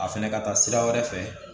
A fɛnɛ ka taa sira wɛrɛ fɛ